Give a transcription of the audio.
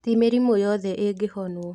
Ti mĩrimũ yothe ĩngĩhonwo.